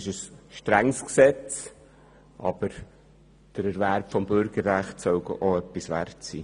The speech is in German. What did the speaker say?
Es ist ein strenges Gesetz, aber der Erwerb des Bürgerrechts soll auch etwas wert sein.